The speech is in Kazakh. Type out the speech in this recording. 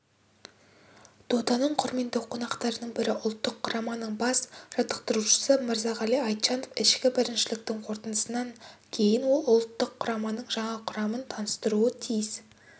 доданың құрметті қонақтарының бірі ұлттық құраманың бас жаттықтырушысы мырзағали айтжанов ішкі біріншіліктің қорытындысынан кейін ол ұлттық құраманың жаңа құрамын таныстыруы тиіс